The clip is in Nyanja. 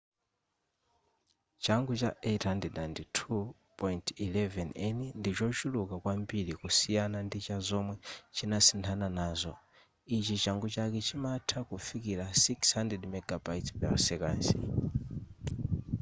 changu cha 802.11n ndichochuluka kwambiri kusiyana ndi chazomwe chinasinthana nazo ichi changu chake chimatha kufikira 600mbit/s